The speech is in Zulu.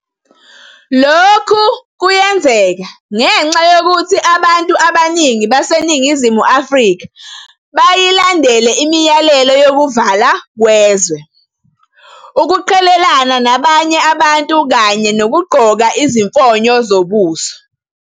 Lokhu kuyenzeka ngenxa yokuthi abantu abaningi baseNingizimu Afrika bayilandele imiyalelo yokuvalwa kwezwe, ukuqhelelana nabanye abantu kanye nokugqoka izifonyo zobuso.